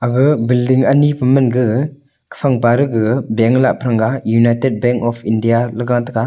gaga billing ani pa manga kafang paregaga bank lah praranga united bank of india ley gataiga.